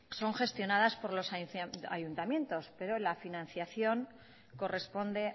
son gestionadas por los ayuntamientos pero la financiación corresponde